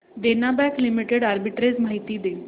देना Bank Limited arbitrage माहिती दे